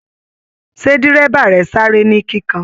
Ṣe dírẹ́bà rẹ sáré ni kíkàn?